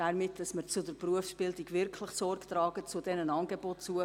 Wir müssen zur Berufsbildung wirklich Sorge tragen, zu diesen Angeboten.